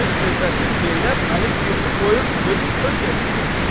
mənim övrətim Zeynəb mənim evimi qoyub gedib öz evində olur.